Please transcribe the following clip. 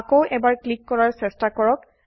আকৌ এবাৰ ক্লিক কৰাৰ চেষ্টা কৰক